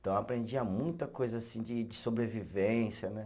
Então eu aprendia muita coisa assim de de sobrevivência, né?